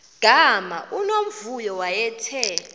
gama unomvuyo wayethe